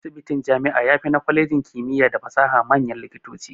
Asibitin jami'a yafi na kwalejin kimiya da fasaha manyan likitoci.